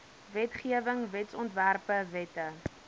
wetgewing wetsontwerpe wette